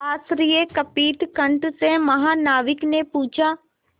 आश्चर्यकंपित कंठ से महानाविक ने पूछा